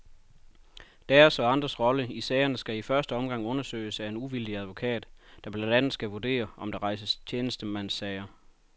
Deres, og andres, rolle i sagerne skal i første omgang undersøges af en uvildig advokat, der blandt andet skal vurdere, om der skal rejses tjenestemandssager.